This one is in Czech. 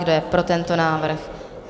Kdo je pro tento návrh?